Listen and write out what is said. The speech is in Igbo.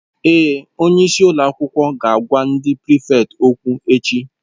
Èé, Onye isi ụlọ akwụkwọ ga-agwa ndị prịfèkt okwu echi.